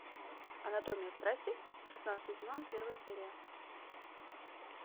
анатомия страсти шестнадцатый сезон первая серия